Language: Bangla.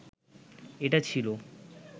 এটা ছিল